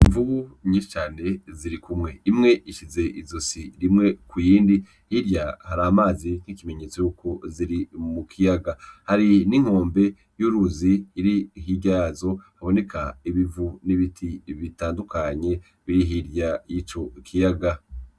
Imvubu nyinshi cane zirikumwe, imwe isize izosi rimwe ku yindi hirya hari amazi nk'ikimenyetso yuko ziri mu kiyaga. Hari n'inkombe y'uruzi iri hirya yazo, haboneka ibivu n'ibiti bitandukanye biri hirya y'ico kiyaga.